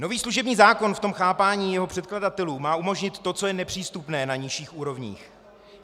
Nový služební zákon v tom chápání jeho předkladatelů má umožnit to, co je nepřístupné na nižších úrovních.